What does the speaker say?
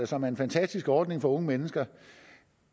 som er en fantastisk ordning for unge mennesker